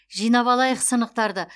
жинап алайық сынықтарды